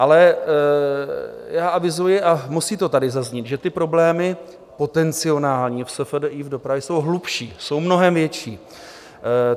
Ale já avizuji, a musí to tady zaznít, že ty problémy potenciální v SFDI, v dopravě, jsou hlubší, jsou mnohem větší.